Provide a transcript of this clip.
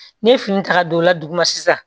Ne ye fini ta ka don o la dugu ma sisan